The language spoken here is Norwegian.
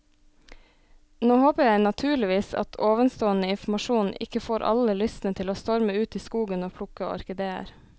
Nå håper jeg naturligvis at ovenstående informasjon ikke får alle lystne til å storme ut i skogen og plukke orkideer.